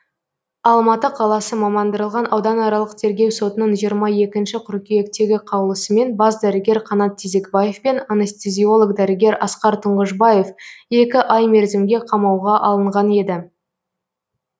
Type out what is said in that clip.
алматы қаласы мамандырылған ауданаралық тергеу сотының жиырма екінші қыркүйектегі қаулысымен бас дәрігер қанат тезекбаев пен анестезиолог дәрігер асқар тұңғышбаев екі ай мерзімге қамауға алынған еді